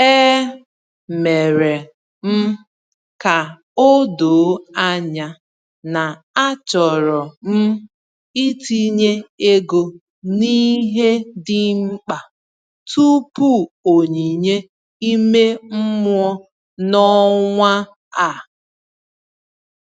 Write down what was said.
E mere m ka o doo anya na achọrọ m itinye ego n’ihe dị mkpa tupu onyinye ime mmụọ n’ọnwa a.